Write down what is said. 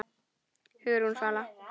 Hugrún Svala.